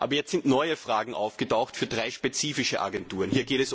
Aber jetzt sind neue Fragen aufgetaucht zu drei spezifischen Agenturen.